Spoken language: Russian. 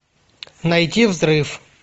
найти взрыв